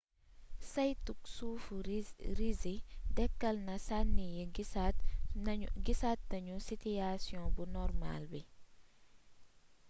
saytug suufu risi dekkal na sànni yi gisaat nañu sitiyaasiyon bu normaal bi